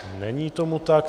Není tomu tak.